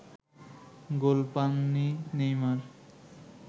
গোল পাননি নেইমার